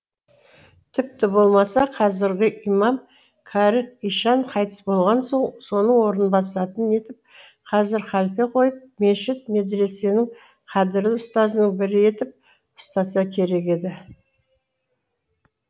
тіпті болмаса қазіргі имам кәрі ишан қайтыс болған соң соның орнын басатын етіп қазір халфе қойып мешіт медресенің қадірлі ұстазының бірі етіп ұстаса керек еді